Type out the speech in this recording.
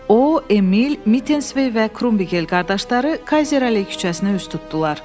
O Emil, Mitensvey və Krumbigel qardaşları Kayzer Alley küçəsinə üz tutdular.